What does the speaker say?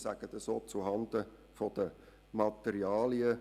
Ich sage dies auch zuhanden der Materialen.